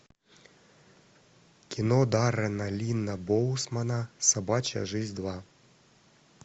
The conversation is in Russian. кино даррена линна боусмана собачья жизнь два